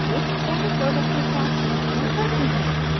आगे चालित लोलक के साथ परिक्षण करते हैं